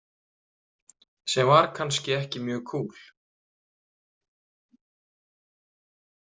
Sem var kannski ekki mjög kúl.